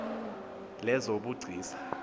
lezobugcisa